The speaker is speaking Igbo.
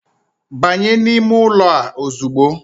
Banye n'ime ụlọ a ozugbo.